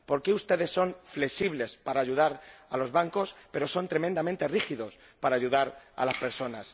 ¿Por qué ustedes son flexibles para ayudar a los bancos, pero son tremendamente rígidos para ayudar a las personas?